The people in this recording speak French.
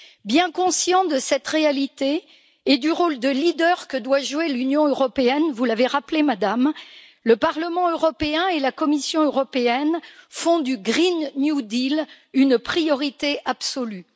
Bien conscient de cette réalité et du rôle de leader que doit jouer l'Union européenne, vous l'avez rappelé, Madame, le Parlement européen et la Commission européenne font du Green New Deal une priorité absolue.